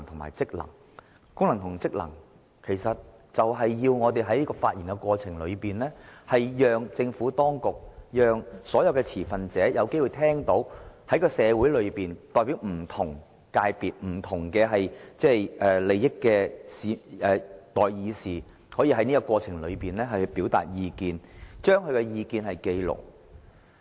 為了履行該等職權，我們須透過發言，讓政府當局及所有持份者聽到代表社會上不同界別及不同利益的代議士所表達的意見，並須把這些意見記錄下來。